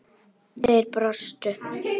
Þeir brostu.